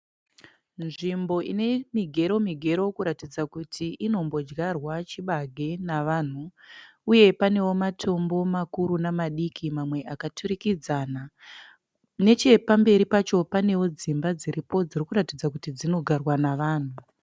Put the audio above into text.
Nzvimbo ine migero migero kuratidza kuti inombodyarwa chibage nevanhu uye panewo matombo makuru namadiki mamwe akaturikidzana. Nechepamberi pacho panewo dzimba dziripo dziri kuratidza kuti dzinogarwa navanhu.